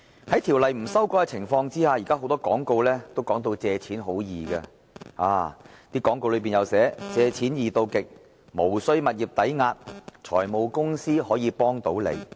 在條例未有修改的情況下，現時很多廣告也把借錢說成是很容易的事，廣告當中更會寫明"借錢易到極"、"無須物業抵押"、"財務公司可以幫到你"。